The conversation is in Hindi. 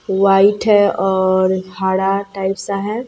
व्हाइट है और हरा टाइप सा है।